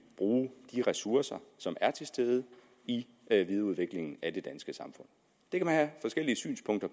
bruge de ressourcer som er til stede i videreudviklingen af det danske samfund det kan man have forskellige synspunkter